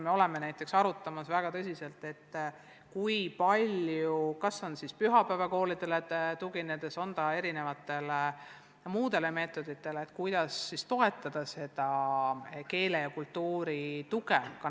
Me oleme väga tõsiselt arutanud veel üht delikaatset teemat: kui palju peaks kas siis pühapäevakoolidele tuginedes või erinevaid muid meetodeid kasutades toetama laste harimist nende emakeele ja kultuuri vallas.